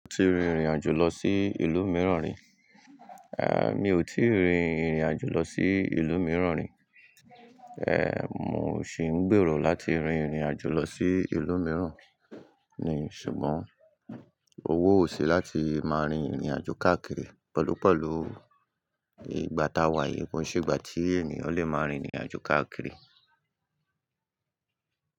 O ti rin ìrìnàjò lọ sí ìlú mìíràn rí? Eh mi ò tíì rin ìrìnàjò lọ sí ìlú mìíràn rí. Èh, mo sì ń gbèrò láti rin ìrìnàjò lọ sí ìlú mìíràn ni, ṣùgbọ́n owó ò sí láti máa rin ìrìnàjò káàkiri. Pẹ̀lúpẹ̀lú ìgbà tá wà yìí, kò se ìgbà tí ènìyàn lè máa rin ìrìnàjò káàkiri.